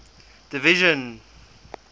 division